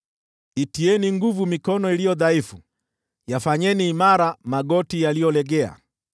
Itieni nguvu mikono iliyo dhaifu, yafanyeni imara magoti yaliyolegea,